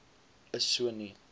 is so nie